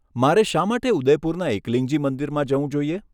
મારે શા માટે ઉદયપુરના એકલિંગજી મંદિરમાં જવું જોઈએ?